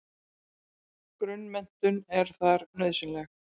Grunnmenntun er þar nauðsynleg.